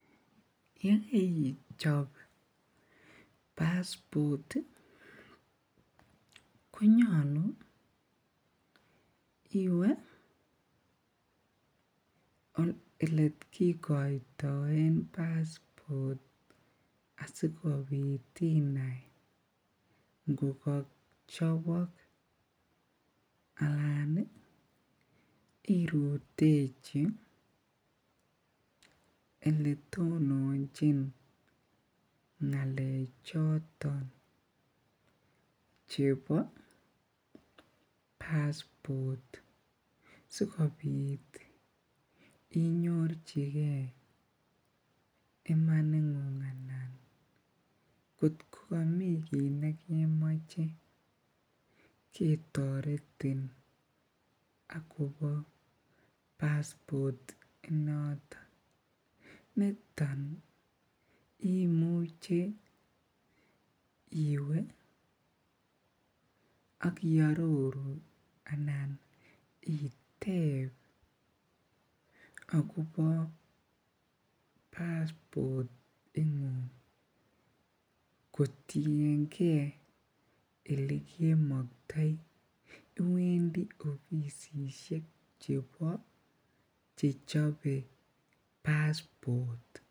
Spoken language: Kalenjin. Yekeichop paspot konyolu iwee elee kikoitoen paspot asikobit inai ngo kochobok alaan irutechi eletononchin ngalechoton chebo paspotsikobit inyorchike imaningung anan kot ko komii kiit nekemoche ketoretin akobo paspot inoton, niton imuche iwee ak iororu anan iteb akobo paspot ingung kotienge elekmoktoi, iwendi ofisishek chebo chechobe paspot.